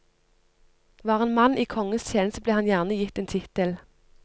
Var en mann i kongens tjeneste ble han gjerne gitt en tittel.